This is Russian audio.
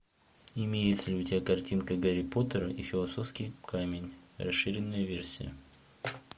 имеется ли у тебя картинка гарри поттер и философский камень расширенная версия